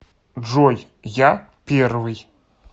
джой я первый